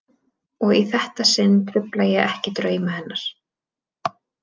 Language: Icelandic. Og í þetta sinn trufla ég ekki drauma hennar.